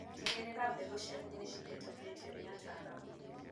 Tigĩrĩra mbegu ciaku nĩcihetũkĩtio nĩ ataalamu.